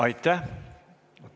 Aitäh!